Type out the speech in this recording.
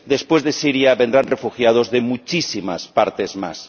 después de Siria vendrán refugiados de muchísimas partes más.